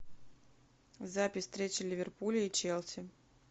запись встречи ливерпуля и челси